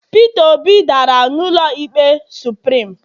peter obi dara n'ụlọ ikpe supirim